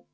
V a h e